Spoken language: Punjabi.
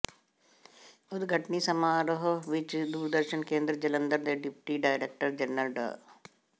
ਉਦਘਾਟਨੀ ਸਮਾਰੋਹ ਵਿੱਚ ਦੂਰਦਰਸ਼ਨ ਕੇਂਦਰ ਜਲੰਧਰ ਦੇ ਡਿਪਟੀ ਡਾਇਰੈਕਟਰ ਜਨਰਲ ਡਾ